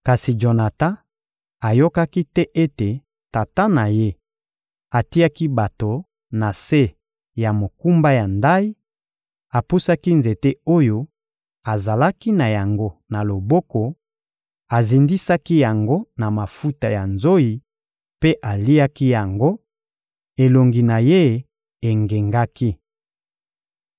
Kasi Jonatan ayokaki te ete tata na ye atiaki bato na se ya mokumba ya ndayi; apusaki nzete oyo azalaki na yango na loboko, azindisaki yango na mafuta ya nzoyi mpe aliaki yango, elongi na ye engengaki.